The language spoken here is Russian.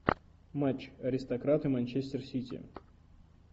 матч аристократы манчестер сити